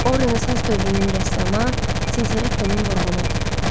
O Renesans dövrünün rəssamı Tintoretonun vurğunu idi.